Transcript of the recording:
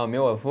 Ah, meu avô?